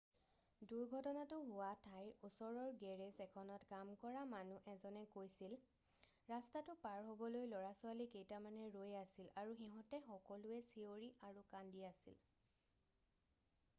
"দুৰ্ঘটনাতো হোৱা ঠাইৰ ওচৰৰ গেৰেজ এখনত কাম কৰা মানুহ এজনে কৈছিল "ৰাস্তাটো পাৰ হ'বলৈ ল'ৰা-ছোৱালী কেইটামান ৰৈ আছিল আৰু সিহঁতে সকলোৱে চিঞৰি আৰু কান্দি আছিল।""